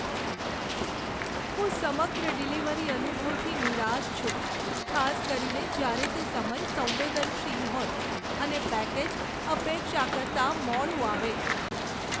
હું સમગ્ર ડિલિવરી અનુભવથી નિરાશ છું, ખાસ કરીને જ્યારે તે સમય સંવેદનશીલ હોય અને પેકેજ અપેક્ષા કરતાં મોડું આવે.